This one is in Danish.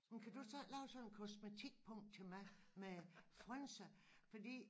Jamen kan du så ikke lave sådan en kosmetikpung til mig med frynser fordi